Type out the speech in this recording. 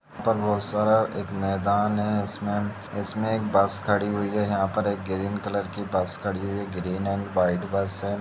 यहाँ पर बहुत सारा मैदान है इसमें इसमें एक बस खड़ी हुई है यहाँ पे एक ग्रीन कलर की बस खड़ी हुई है ग्रीन एंड वाईट बस है।